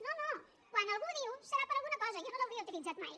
no no quan algú ho diu serà per alguna cosa jo no l’hauria utilitzat mai